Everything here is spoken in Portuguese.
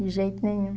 De jeito nenhum.